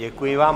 Děkuji vám.